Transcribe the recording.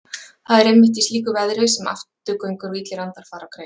Það er einmitt í slíku veðri sem afturgöngur og illir andar fara á kreik.